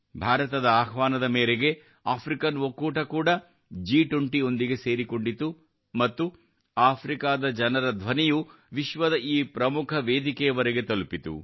ಭಾರತದ ಆಹ್ವಾನದ ಮೇರೆಗೆ ಆಫ್ರಿಕನ್ ಒಕ್ಕೂಟ ಕೂಡ ಜಿ 20 ರೊಂದಿಗೆ ಸೇರಿಕೊಂಡಿತು ಮತ್ತು ಆಫ್ರಿಕಾದ ಜನರ ಧ್ವನಿಯು ವಿಶ್ವದ ಈ ಪ್ರಮುಖ ವೇದಿಕೆಯವರೆಗೆ ತಲುಪಿತು